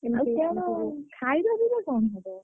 ଆଉ କଣ ଖାଇବା ପିଇବା କଣ ହବ?